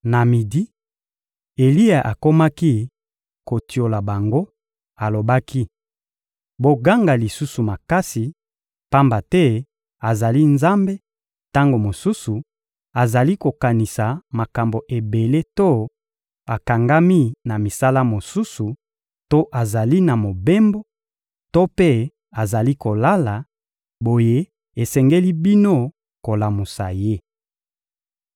Na midi, Eliya akomaki kotiola bango, alobaki: «Boganga lisusu makasi, pamba te azali nzambe; tango mosusu azali kokanisa makambo ebele to akangami na misala mosusu to azali na mobembo; to mpe azali kolala, boye esengeli bino kolamusa ye.»